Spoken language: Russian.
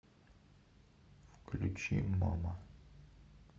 включи мама